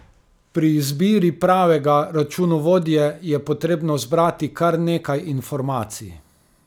Pri izbiri pravega računovodje je potrebno zbrati kar nekaj informacij.